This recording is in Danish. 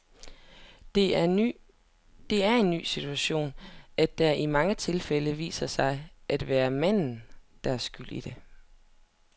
Det er en ny situation, at det i mange tilfælde viser sig at være manden, der er skyld i det.